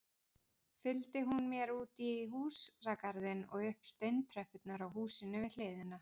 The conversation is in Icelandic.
Fylgdi hún mér útí húsagarðinn og upp steintröppurnar á húsinu við hliðina.